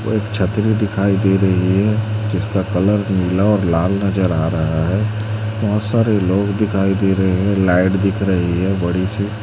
और एक छतरी दिखाई दे रही है जिसका कलर नीला और लाल नजर आ रहा है बहुत सारे लोग दिखाई दे रहे हैं लाइट दिख रही है बड़ी सी।